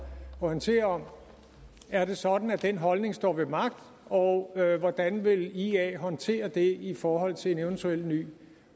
orientere om er det sådan at den holdning står ved magt og hvordan vil ia håndtere det i forhold til en eventuel ny